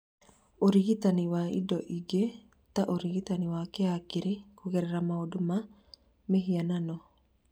Ũrigitani wa indo ingĩ ta ũrigitani wa kĩhakiri kũgerera maũndũ ma mĩhianano